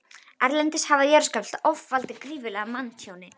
Erlendis hafa jarðskjálftar oft valdið gífurlegu manntjóni.